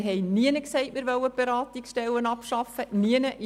Wir haben nirgends gesagt, dass wir die Beratungsstellen abschaffen wollen.